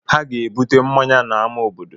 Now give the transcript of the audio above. Ha ga-ebute mmanya n'amá obodo.